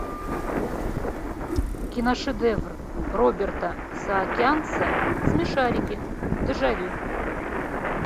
киношедевр роберта саакянца смешарики дежавю